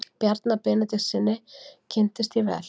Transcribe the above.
Bjarna Benediktssyni kynntist ég vel.